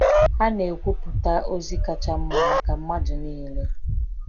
Ha na-ekwupụta ozi kacha mma maka mmadụ niile.